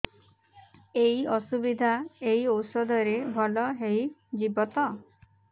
ଏଇ ଅସୁବିଧା ଏଇ ଔଷଧ ରେ ଭଲ ହେଇଯିବ ତ